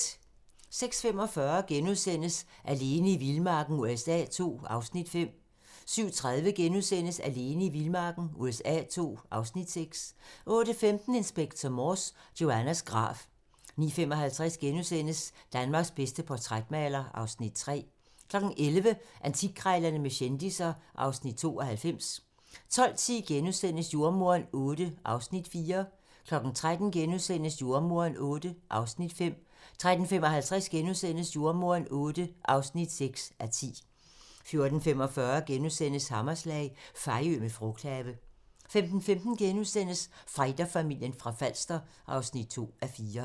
06:45: Alene i vildmarken USA II (Afs. 5)* 07:30: Alene i vildmarken USA II (Afs. 6)* 08:15: Inspector Morse: Joannas grav 09:55: Danmarks bedste portrætmaler (Afs. 3)* 11:00: Antikkrejlerne med kendisser (Afs. 92) 12:10: Jordemoderen VIII (4:10)* 13:00: Jordemoderen VIII (5:10)* 13:55: Jordemoderen VIII (6:10)* 14:45: Hammerslag - Fejø med frugthave * 15:15: Fighterfamilien fra Falster (2:4)*